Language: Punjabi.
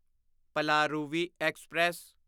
ਪਲਾਰੂਵੀ ਐਕਸਪ੍ਰੈਸ